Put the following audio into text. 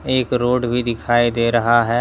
एक रोड भी दिखाई दे रहा है।